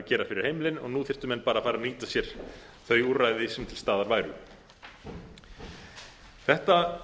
gera fyrir heimilin og nú þyrftu menn bara að fara að nýta sér þau úrræði sem til staðar væru þetta